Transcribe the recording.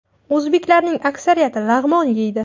O‘zbeklarning aksariyati lag‘mon yeydi.